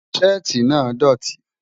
Sétì náà dọ̀tì.